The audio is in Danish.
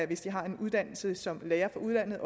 hvis de har en uddannelse som lærer fra udlandet